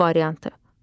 B variantı.